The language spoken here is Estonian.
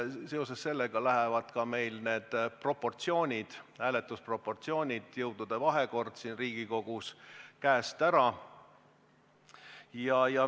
Sel juhul läheb meil hääletusel jõudude vahekord Riigikogus käest ära.